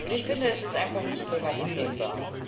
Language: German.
Ich finde, das ist einfach nicht länger hinnehmbar.